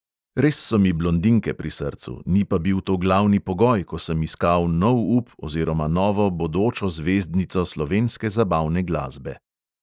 Res so mi blondinke pri srcu, ni pa bil to glavni pogoj, ko sem iskal nov up oziroma novo bodočo zvezdnico slovenske zabavne glasbe.